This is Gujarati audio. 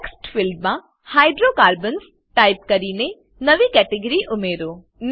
ટેક્સ્ટ ફિલ્ડમાં હાઇડ્રોકાર્બન્સ ટાઈપ કરીને નવી કેટેગરી ઉમેરીએ